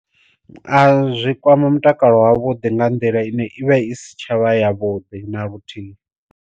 A zwi kwama mutakalo wa vhuḓi nga nḓila ine i vha i si tshavha ya vhuḓi na luthihi.